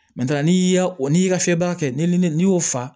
n'i y'a o n'i y'i ka fiyɛ baara kɛ ni ne y'o fa